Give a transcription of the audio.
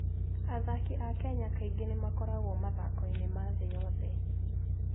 Athaki a Kenya kaingĩ nĩ makoragwo mathako-inĩ ma thĩ yothe.